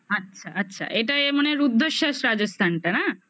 আচ্ছা আচ্ছা এটা এ মানে রুদ্রেশ্বর রাজস্থানটা না?